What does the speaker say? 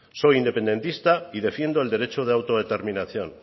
soy independista y defiendo el derecho de autodeterminación